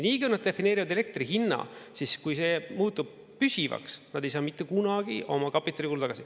Nii kui nad defineerivad elektri hinna siis, kui see muutub püsivaks, nad ei saa mitte kunagi oma kapitalikulu tagasi.